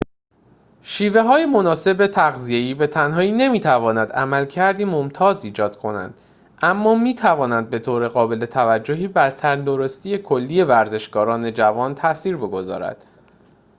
شیوه‌های مناسب تغذیه‌ای به تنهایی نمی‌تواند عملکردی ممتاز ایجاد کنند اما می‌توانند به طور قابل توجهی بر تندرستی کلی ورزشکاران جوان تأثیر بگذارد